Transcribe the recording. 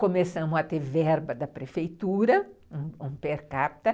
Começamos a ter verba da prefeitura, um um per capita.